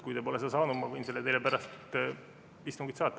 Kui te pole seda saanud, siis ma võin selle teile pärast istungit saata.